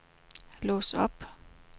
lås op